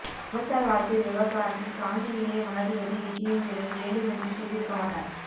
தமிழ்த்தாய் வாழ்த்து விவகாரத்தில் காஞ்சி இளைய மடாதிபதி விஜயேந்திரர் வேண்டுமென்றே செய்திருக்க மாட்டார்